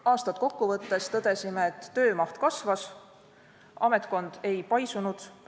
Aastat kokku võttes tõdesime, et töö maht kasvas, ametkond ei paisunud.